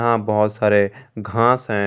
यहां बहुत सारे घास हैं।